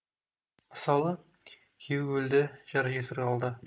мысалы күйеуі өлді жар жесір қалды